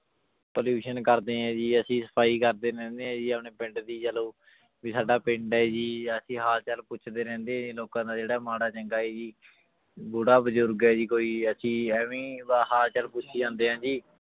Pollution ਕਰਦੇ ਹੈ ਜੀ ਅਸੀਂ ਸਫ਼ਾਈ ਕਰਦੇ ਰਹਿੰਦੇ ਹਾਂ ਜੀ ਆਪਣੇ ਪਿੰਡ ਦੀ ਚਲੋ ਵੀ ਸਾਡਾ ਪਿੰਡ ਹੈ ਜੀ ਅਸੀਂ ਹਾਲ ਚਾਲ ਪੁੱਛਦੇ ਰਹਿੰਦੇ ਹਾਂ ਜੀ ਲੋਕਾਂ ਦਾ ਜਿਹੜਾ ਮਾੜਾ ਚੰਗਾ ਹੈ ਜੀ ਬੁੜਾ ਬਜ਼ੁਰਗ ਹੈ ਜੀ ਕੋਈ ਅਸੀਂ ਇਵੇਂ ਹੀ ਹਾਲ ਚਾਲ ਪੁੱਛੀ ਜਾਂਦੇ ਹਾਂ ਜੀ